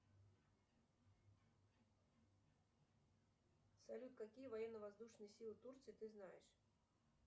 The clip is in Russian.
салют какие военно воздушные силы турции ты знаешь